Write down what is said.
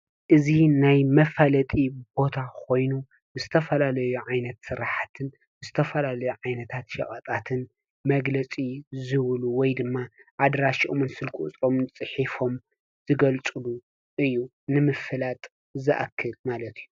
እዚ ናይ መፋለጢ ቦታ ኮይኑ ዝተፈላለዩ ዓይነት ስራሕትን ዝተፈላለዩ ዓይነታት ሸቀጣትን መግለፂ ዝህብሉ ወይ ድማ ኣድራሾምን ስልኪ ቁፅሮምን ፅሒፎም ዝገልፅሉ እዩ። ንምፍላጥ ዝኣክል ማለት እዩ።